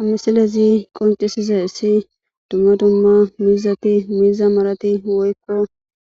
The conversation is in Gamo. Amisalezi qoncisiza issi dumma dumma miizati miiza malati woykko